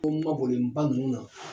Ko mabɔlen ba ninnu na.